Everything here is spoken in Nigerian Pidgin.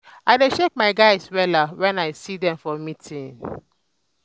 i dey shake my guys wella wen i see dem for meeting.